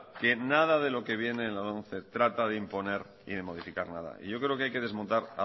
que nada de lo que viene en la lomce trata de imponer y de modificar nada y yo creo que hay que desmontar